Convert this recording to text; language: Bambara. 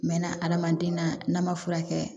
Mɛ na adamaden na n'a ma furakɛ